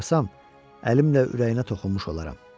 Onu oxşasam, əlimlə ürəyinə toxunmuş olaram.